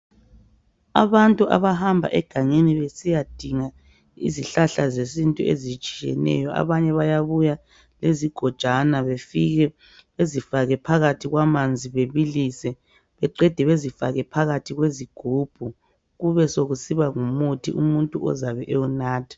Abantu abahamba egangeni besiyadinga izihlahla zesintu ezitshiyeneyo abanye bayabuya lezigojana befike bezifake phakathi kwamanzi bebilise baqede bazifake phakathi kwezigubhu kube sekusiba ngumuthi umuntu ozabe ewunatha.